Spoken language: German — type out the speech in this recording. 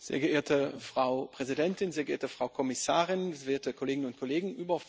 Sehr geehrte Frau Präsidentin, sehr geehrte Frau Kommissarin, werte Kolleginnen und Kollegen!